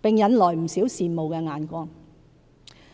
並引來不少羨慕眼光。